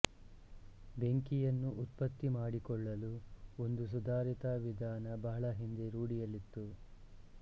ಬೆಂಕಿಯನ್ನು ಉತ್ಪತ್ತಿಮಾಡಿಕೊಳ್ಳಲು ಒಂದು ಸುಧಾರಿತ ವಿಧಾನ ಬಹಳ ಹಿಂದೆ ರೂಢಿಯಲ್ಲಿತ್ತು